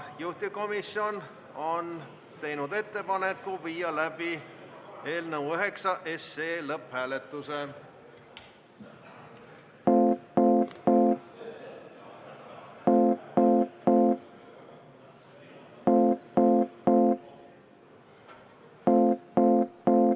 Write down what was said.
Juhtivkomisjon on teinud ettepaneku viia läbi eelnõu nr 9 lõpphääletus.